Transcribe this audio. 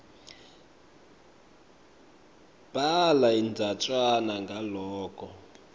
bhala indzatjana ngaloko